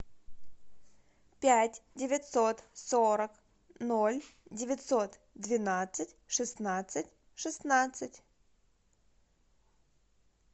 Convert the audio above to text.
пять девятьсот сорок ноль девятьсот двенадцать шестнадцать шестнадцать